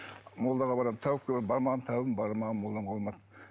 молдаға барамын тәуіпке барамын бармаған тәуібім бармаған молдам қалмады